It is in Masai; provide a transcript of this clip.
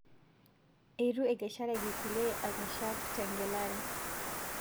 Eitu ekeshareki kulie akeshak tengelare